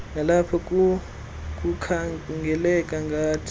nalapho kukhangeleka ngathi